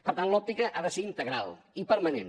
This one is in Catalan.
per tant l’òptica ha de ser integral i permanent